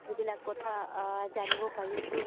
সেইবিলাক কথা জানিব পাৰিছো